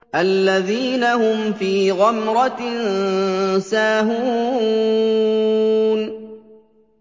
الَّذِينَ هُمْ فِي غَمْرَةٍ سَاهُونَ